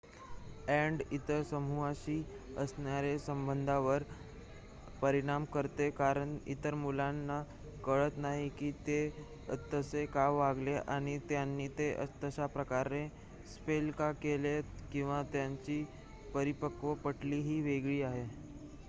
add इतर समूहाशी असणाऱ्या संबधावर परिणाम करते कारण इतर मुलांना कळत नाही की ते तसे का वागले आणि त्यांनी ते तशा प्रकारे स्पेल का केले किंवा त्यांची परिपक्वता पटली ही वेगळी आहे